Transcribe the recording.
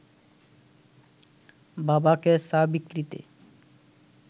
বাবাকে চা বিক্রিতে